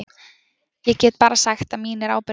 Ég get bara sagt að mín er ábyrgðin.